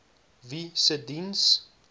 wie se diens